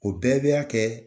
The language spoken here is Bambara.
O bɛɛ bɛ'a kɛ